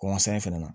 Kɔnkɔsɔn in fɛnɛ na